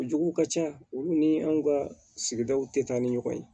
O jugu ka ca olu ni anw ka sigidaw te taa ni ɲɔgɔn ye